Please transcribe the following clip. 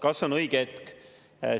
Kas on õige hetk?